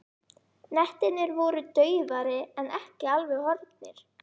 Hnettirnir voru daufari en ekki alveg horfnir.